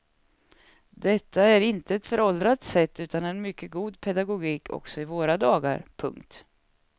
Detta är inte ett föråldrat sätt utan en mycket god pedagogik också i våra dagar. punkt